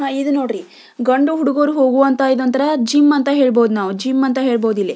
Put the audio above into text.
ಇದು ನೋಡ್ರಿ ಗಂಡು ಹುಡುಗೂರು ಹೋಗುವಂತಹ ಇದು ಒಂದು ತರ ಜಿಮ್ ಅಂತ ಹೇಳಬಹುದು ಜಿಮ್ ಅಂತ ಹೇಳಬಹುದು ಇಲ್ಲೇ.